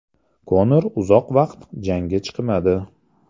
Konor uzoq vaqt jangga chiqmadi.